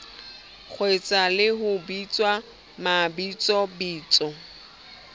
kgeswa le ho bitswa mabitsobitso